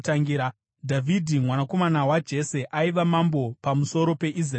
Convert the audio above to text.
Dhavhidhi mwanakomana waJese aiva mambo pamusoro peIsraeri yose.